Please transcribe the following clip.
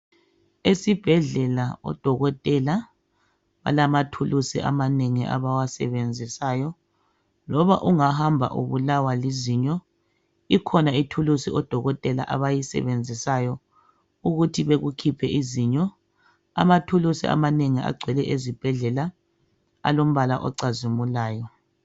Esibhedlela odokotela bamathulusi amanengi abawasebenzisayo loba ungahamba ubulawa lizinyo ikhona ithulusi odokotela abayisebenzisayo ukuthi bekukhiphe izinyo. Amathulusi amanengi agcwele ezibhedlela alombala ocazimulayo.